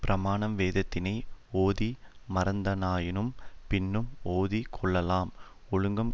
பிராமணன் வேதத்தினை ஓதி மறந்தானாயினும் பின்னும் ஓதி கொள்ளலாம் ஒழுக்கங்